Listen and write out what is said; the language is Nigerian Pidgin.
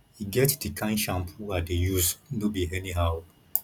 e get the kin shampoo i dey use no be anyhow